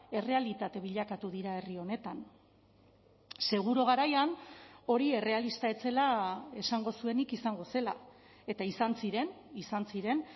errealitate bilakatu dira herri honetan seguru garaian hori errealista ez zela esango zuenik izango zela eta izan ziren izan ziren